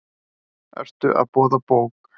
Ertu að boða bók?